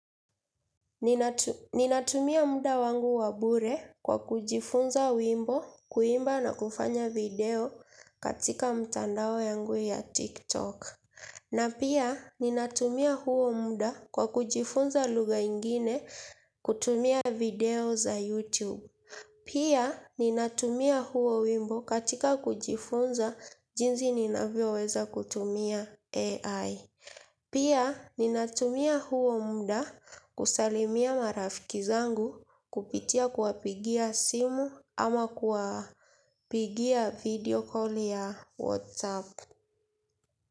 Ninatumia muda wangu wa bure kwa kujifunza wimbo kuimba na kufanya video katika mtandao yangu ya TikTok. Na pia ninatumia huo muda kwa kujifunza lugha nyingine kutumia video za YouTube. Pia ninatumia huo wimbo katika kujifunza jinsi ninavyoweza kutumia AI. Pia ninatumia huo muda kusalimia marafiki zangu kupitia kwa kupigia simu ama kwa kupigia video call ya WhatsApp.